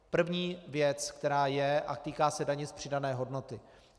První věc, která je a týká se daně z přidané hodnoty.